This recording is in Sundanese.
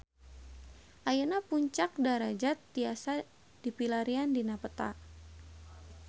Ayeuna Puncak Darajat tiasa dipilarian dina peta